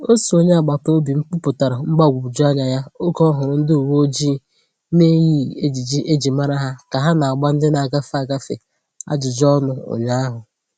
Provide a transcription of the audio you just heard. Otu onye agbata obi m kwuputara mgbagwoju anya ya oge ọ hụrụ ndi uwe ojii na-eyighị ejiji e ji mara ha ka ha na-agba ndị na-agafe, agafe ajụjụ ọnụ ụnyaahụ.